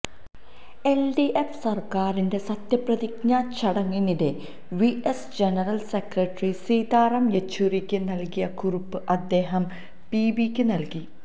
LDF സര്ക്കാരിന്റെ സത്യപ്രതിജ്ഞാ ചടങ്ങിനിടെ വിഎസ് ജനറല് സെക്രട്ടറി സീതാറാം യെച്ചൂരിക്ക് നല്കിയ കുറിപ്പ് അദ്ദേഹം പിബിക്ക് നല്കി